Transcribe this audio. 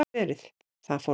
Það fór hratt.